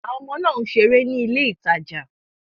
Àwọn ọmọ náà ń ṣeré ní ilé ìtajà.